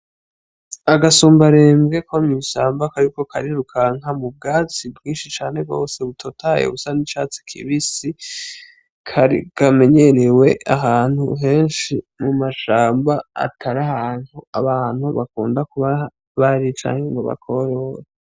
Agasumbarembwe ko mwishamba kariko karirukanka mu bwatsi bwinshi cane gose butotahaye busa n'icatsi kibisi kamenyerewe ahantu henshi mumashamba atari ahantu abantu bakunda kubabari canke ngo bakorore.